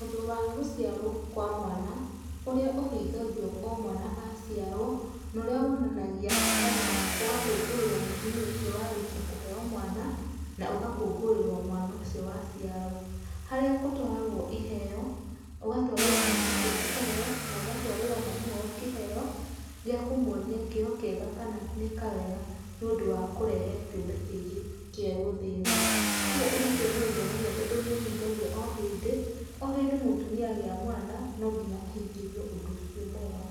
Ũndũ wa gũciarwo kwa mwana ũria ũhigagio o mwana aciarwo na ũria wonanagia kana ũgakongoirwo mũtumia ũcio warĩkia kũheo mwana na ũgakũnguirwo mwana ũcio waciarwo harĩa gũtwaragwa iheo, ũgatwarĩrwo mwana ũcio kĩheo na ũgatwarĩrwo mami wao kĩheo gĩakũmuonia kĩo kiega kana nĩeka wega nĩ ũndũ wa kũrehe kĩũmbe kĩngĩ kĩero thĩ ĩno, kũgũo ũndũ ũcio nĩ ũngenegai tondũ nĩ ũhĩngagio o hĩndĩ,o hĩndĩ mũtumia agĩa mwana no nginya ahingĩrio ũndũ ucio mwega.